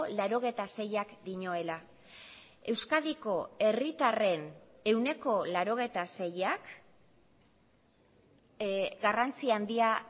laurogeita seiak dioela euskadiko herritarren ehuneko laurogeita seiak garrantzi handia